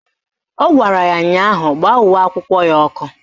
Ọ gwara ya ụnyaahụ "Gbaa uwe akwụkwọ ya ọkụ"!